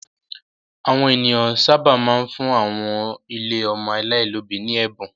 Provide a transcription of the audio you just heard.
Àwọn ènìyàn sábà máa ń fún àwọn ilé ọmọ aláìlóòbí ní ẹ̀bùn.